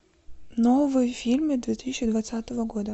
новые фильмы две тысячи двадцатого года